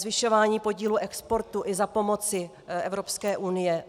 Zvyšování podílu exportu i za pomoci Evropské unie.